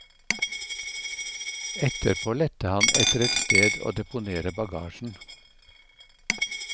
Etterpå lette han etter et sted å deponere bagasjen.